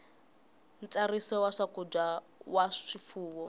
ntsariso ya swakudya swa swifuwo